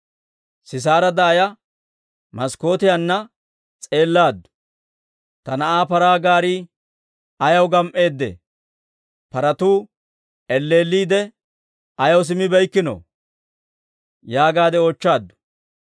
Sisaara daaya maskkootiyaanna s'eellaaddu. ‹Ta na'aa paraa gaarii ayaw gam"eedee? Paratuu elleelliidde ayaw simmibeykkino?› yaagaadde oochchaaddu.